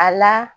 A la